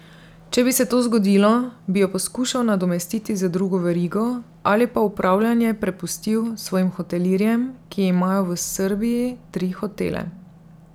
Če bi se to zgodilo, bi jo poskušal nadomestiti z drugo verigo, ali pa upravljanje prepustil svojim hotelirjem, ki imajo v Srbiji tri hotele.